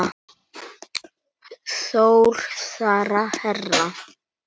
Þór, Sara, Hera.